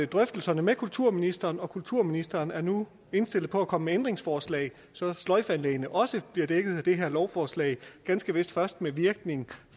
drøftelser med kulturministeren og kulturministeren er nu indstillet på at komme ændringsforslag så sløjfeanlæggene også bliver dækket af det her lovforslag ganske vist først med virkning